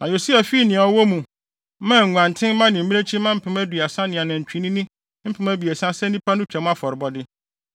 Na Yosia fii nea ɔwɔ mu, maa nguantenmma ne mmirekyimma mpem aduasa ne anantwinini mpem abiɛsa sɛ nnipa no Twam afɔrebɔde.